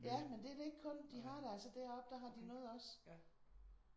Ja men det er det ikke kun. De har det altså deroppe. Der har de noget også